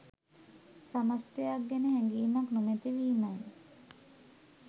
සමස්තයක් ගැන හැඟීමක් නොමැති වීමයි.